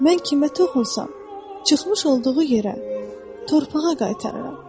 Mən kimə toxunsam, çıxmış olduğu yerə, torpağa qaytarıram.